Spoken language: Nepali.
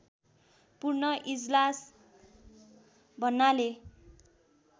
पूर्ण इजलास भन्नाले